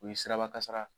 U ye siraba kasara